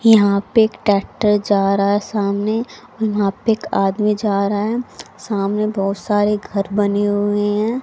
यहां पे ट्रैक्टर जा रहा है सामने ओर वहां पे एक आदमी जा रहा है। सामने बहोत सारे घर बने हुए है।